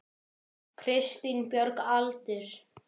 Kristín Björg Aldur?